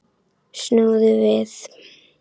Snúðu við.